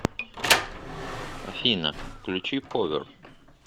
афина включи повер